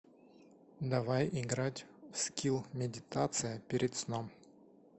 давай играть в скилл медитация перед сном